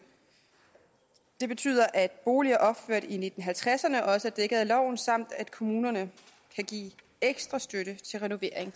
det betyder at boliger opført i nitten halvtredserne også er dækket af loven samt at kommunerne kan give ekstra støtte til renovering